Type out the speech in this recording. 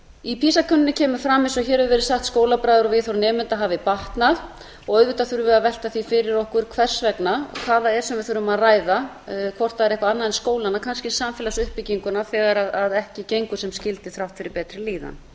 í pisa könnuninni kemur fram eins og hér hefur verið sagt að skólabragur og viðhorf nemenda hafi batnað auðvitað þurfum við að velta því fyrir okkur hvers vegna hvað það er sem við þurfum að ræða hvort það er eitthvað annað en skólanna kannski samfélagsuppbygginguna þegar ekki gengur sem skyldi þrátt fyrir betri líðan